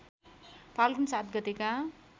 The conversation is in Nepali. फाल्गुन ७ गतेका